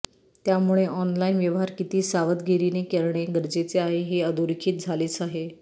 त्यामुळे ऑनलाईन व्यवहार किती सावधगिरीने करणे गरजेचे आहे हे अधोरेखित झालेच आहे